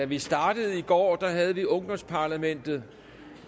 vi startede i går havde vi ungdomsparlamentet